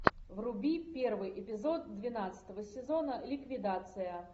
вруби первый эпизод двенадцатого сезона ликвидация